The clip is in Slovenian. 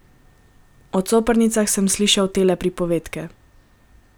O coprnicah sem slišal tele pripovedke.